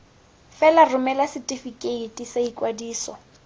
fela romela setefikeiti sa ikwadiso